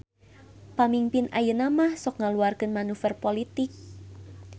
Pamingpin ayeunamah sok ngaluarkeun manuver politik